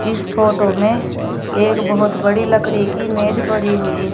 इस फोटो में एक बहुत बड़ी लकड़ी की मेज पड़ी हुई है।